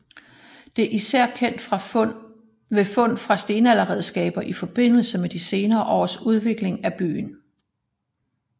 Det især sket ved fund af stenalderredskaber i forbindelse med de senere års udvikling af byen